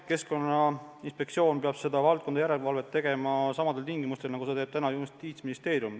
Keskkonnainspektsioon peab selle valdkonna järelevalvet tegema samadel tingimustel, nagu praegu teeb Justiitsministeerium.